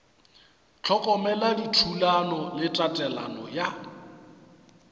hlokomela dithulano le tatelelo ya